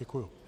Děkuju.